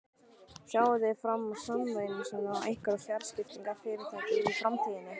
Sjáið þið fram á sameiningar við einhver fjarskiptafyrirtæki í framtíðinni?